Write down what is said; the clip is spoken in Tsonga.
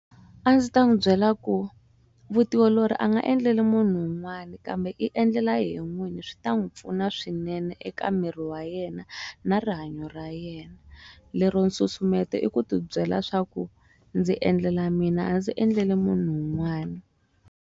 A ndzi ta n'wi byela ku vutiolori a nga endleli munhu wun'wani kambe i endlela yehe n'wini swi ta n'wi pfuna swinene eka miri wa yena na rihanyo ra yena lero nsusumeto i ku ti byela swaku ndzi endlela mina a ndzi endleli munhu un'wani.